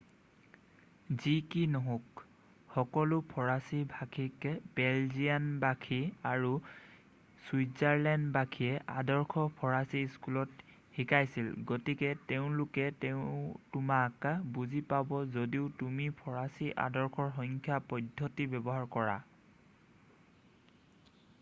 যি কি নহওঁক সকলো ফৰাচী ভাষিক বেলজিয়ানবাসী আৰু ছুইজাৰলেণ্ডবাসীয়ে আদৰ্শ ফৰাচী স্কুলত শিকিছিল গতিকে তেওঁলোকে তোমাক বুজি পাব যদিও তুমি ফৰাচী আদৰ্শৰ সংখ্যা পদ্ধতি ব্যৱহাৰ কৰা